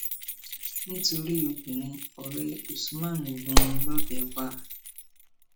nítorí obìnrin ọrẹ usman gún un lọbẹ pa